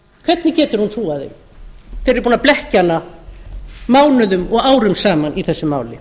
hvernig hún trúað þeim þegar þeir eru búnir að blekkja hana mánuðum og árum saman í þessu máli